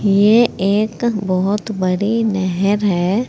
ये एक बहोत बड़ी नहर है।